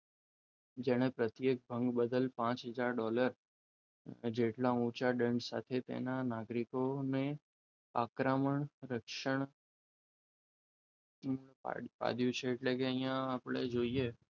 જેણે પ્રત્યેક ભંગ બદલ પાંચ હજાર ડોલર જેટલા ઊંચા દંડ સાથે તેના નાગરિકોને આક્રમણ રક્ષણ પૂરું પાડ્યું છે એટલે કે અહીંયા આપણે જોઈએ,